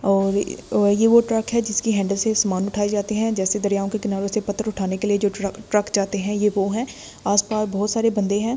और ये वो ट्रक है जिसकी हैंडल से सामान उठाए जाते हैं जैसे दरियाओं के किनारों से पत्थर उठाने के लिए जो ट्रक ट्रक जाते हैं ये वो हैं आसपास बहुत सारे बंदे हैं।